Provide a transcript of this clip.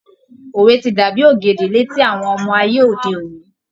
Òwe ti dàbí ògèdè létí àwọn ọmọ ayé òde òní.